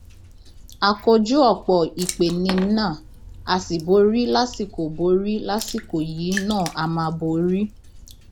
a kojú ọpọ ìpeniná a sì borí lásìkò borí lásìkò yìí náà a máa borí